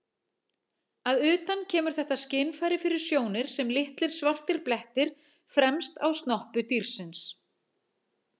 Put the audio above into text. Að utan kemur þetta skynfæri fyrir sjónir sem litlir svartir blettir fremst á snoppu dýrsins.